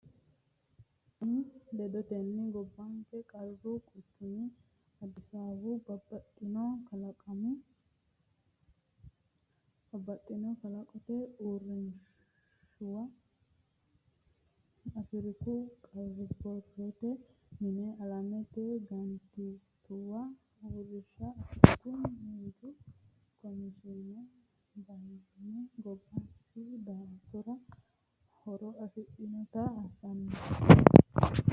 goshooshaanonni ledotenni gobbanke qaru quchumi Addisaawu babbaxxitino kalqete uurrinshuwa, Afriku qara bor- rote mine, alamete mangistuwa uurrinsha, Afriku miinju komishiine, bat- inye gobbuwa Embaasuwa afantannowa ikkase gambooshshu daa”atora horo afidhannota assannose.